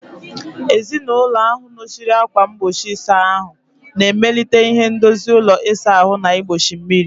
Ezinụlọ ahụ nọchiri ákwà mgbochi ịsa ahụ, na-emelite ihe ndozi ụlọ ịsa ahụ na igbochi mmiri.